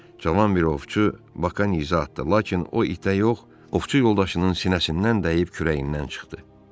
Cavan bir ovçu Bakı izə atdı, lakin o itə yox, ovçu yoldaşının sinəsindən dəyib kürəyindən çıxdı.